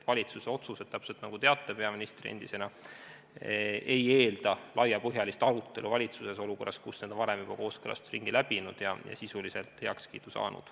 Valitsuse otsused, nagu te endise peaministrina teate, ei eelda laiapõhjalist arutelu valitsuses, kui need on juba varem kooskõlastusringi läbinud ja sisuliselt heakskiidu saanud.